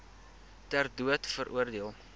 ter dood veroordeel